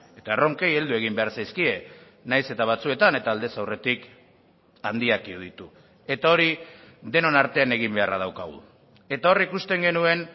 eta erronkei heldu egin behar zaizkie nahiz eta batzuetan eta aldez aurretik handiak iruditu eta hori denon artean egin beharra daukagu eta hor ikusten genuen